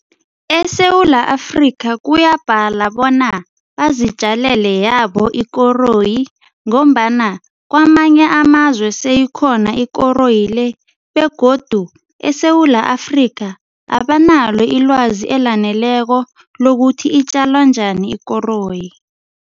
ESewula Afrika kuyabhadala bona bazitjalile yabo ikoroyi ngombana kwamanye amazwe seyikhona ikoroyi le begodu eSewula Afrika abanalo ilwazi elaneleko lokuthi itjalwa njani ikoroyi.